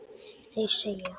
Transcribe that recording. Þeir segja